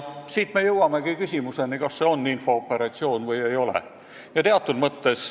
Siit me jõuamegi küsimuseni, kas see on infooperatsioon või ei ole.